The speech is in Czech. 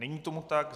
Není tomu tak.